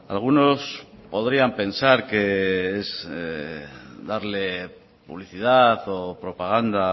algunos podrían pensar que es darle publicidad o propaganda